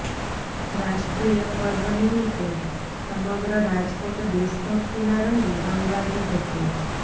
રાષ્ટ્રીય પર્વ નિમિત્તે સમગ્ર રાજકોટ દેશભક્તિનાં રંગે રંગાયુ હતું